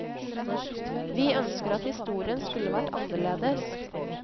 Vi ønsker at historien skulle vært annerledes.